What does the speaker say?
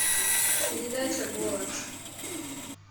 передача голос